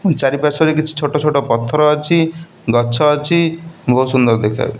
ମୋ ଚାରି ପାର୍ଶ୍ଵରେ କିଛି ଛୋଟ ଛୋଟ ପଥର ଅଛି। ଗଛ ଅଛି। ବହୁତ୍ ସୁନ୍ଦର ଦେଖାଯାଉଛି।